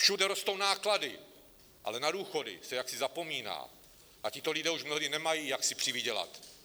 Všude rostou náklady, ale na důchody se jaksi zapomíná, a tito lidé již mnohdy nemají, jak si přivydělat.